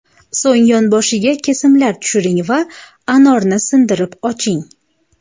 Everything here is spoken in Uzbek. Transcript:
So‘ng yonboshiga kesimlar tushiring va anorni sindirib oching.